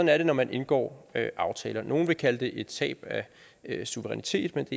er det når man indgår aftaler nogle vil kalde det et tab af suverænitet men